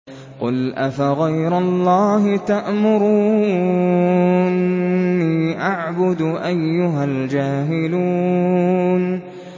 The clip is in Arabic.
قُلْ أَفَغَيْرَ اللَّهِ تَأْمُرُونِّي أَعْبُدُ أَيُّهَا الْجَاهِلُونَ